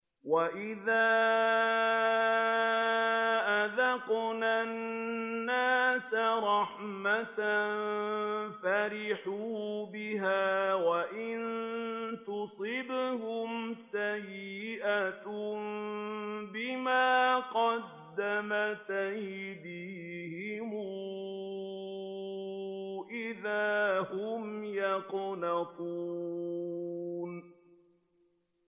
وَإِذَا أَذَقْنَا النَّاسَ رَحْمَةً فَرِحُوا بِهَا ۖ وَإِن تُصِبْهُمْ سَيِّئَةٌ بِمَا قَدَّمَتْ أَيْدِيهِمْ إِذَا هُمْ يَقْنَطُونَ